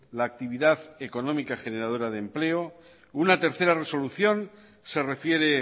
la actividad económica generadora de empleo una tercera resolución se refiere